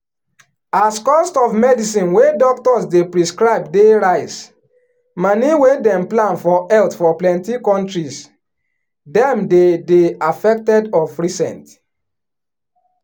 as cost of medicine wey doctors dey prescribe dey rise moni wey dem plan put for health for plenty countries dem dey dey affected of recent.